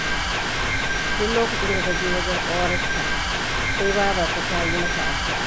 Duk lokacin da ta je wajen ƙawarta, sai babarta ta yi mata addu'a.